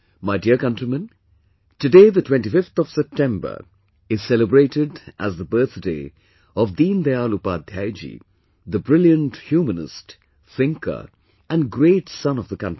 My dear countrymen, today the 25th of September is celebrated as the birthday of Deendayal Upadhyay ji, the brilliant humanist, thinker and great son of the country